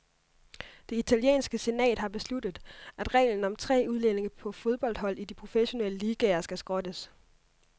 Det italienske senat har besluttet, at reglen om tre udlændinge på fodboldhold i de professionelle ligaer skal skrottes.